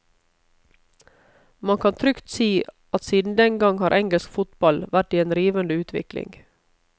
Man kan trygt si at siden den gang har engelsk fotball vært i en rivende utvikling.